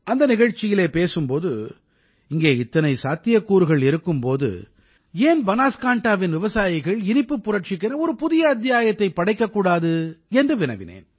அந்த நிகழ்ச்சியில் பேசும் போது இங்கே இத்தனை சாத்தியக்கூறுகள் இருக்கும் போது ஏன் பனாஸ்காண்டாவின் விவசாயிகள் இனிப்புப் புரட்சிக்கென ஒரு புதிய அத்தியாயத்தைப் படைக்கக்கூடாது என்று வினவினேன்